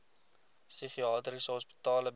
psigiatriese hospitale bied